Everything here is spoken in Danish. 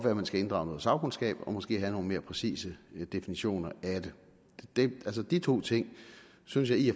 at man skal inddrage noget sagkundskab og måske have nogle mere præcise definitioner af det de to ting synes jeg i